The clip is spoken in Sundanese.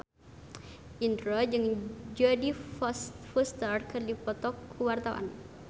Indro jeung Jodie Foster keur dipoto ku wartawan